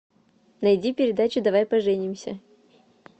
найди передачу давай поженимся